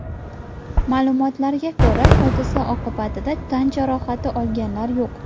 Ma’lumotlarga ko‘ra, hodisa oqibatida tan jarohati olganlar yo‘q.